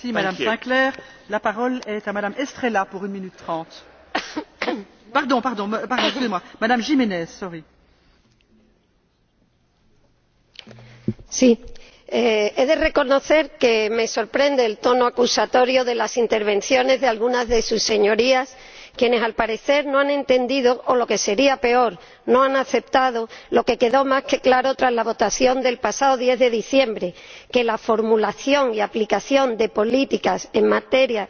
Señora Presidenta, he de reconocer que me sorprende el tono acusatorio de las intervenciones de algunas de sus Señorías, quienes al parecer no han entendido o —lo que sería peor— no han aceptado lo que quedó más que claro tras la votación del pasado 10 de diciembre que la formulación y aplicación de políticas en materia